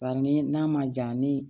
Bari ni n'a ma ja ni